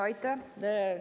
Aitäh!